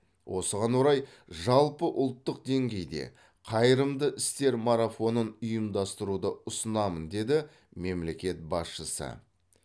осыған орай жалпыұлттық деңгейде қайырымды істер марафонын ұйымдастыруды ұсынамын деді мемлекет басшысы